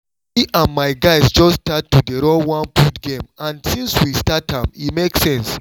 me and my guys just start to dey run one food game and since we start am e make sense